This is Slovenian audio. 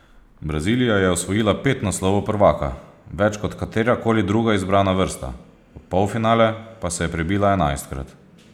Brazilija je osvojila pet naslovov prvaka, več kot katerakoli druga izbrana vrsta, v polfinale pa se je prebila enajstkrat.